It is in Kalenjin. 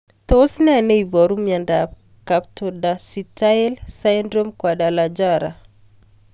Tos ne neiparu miondop Camptodactyly syndrome Guadalajara